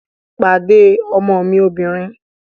Pàdé ọmọ mi obìnrin!